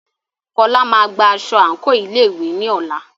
Fola máa gba aṣọ àǹkóò ilé ìwé ní ọ̀la.